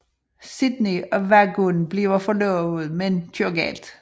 Sydney og vaguhn bliver forlovet men køre galt